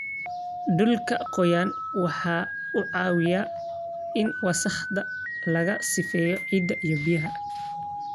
Dhulka qoyan waxa uu caawiyaa in wasakhda laga sifeeyo ciidda iyo biyaha.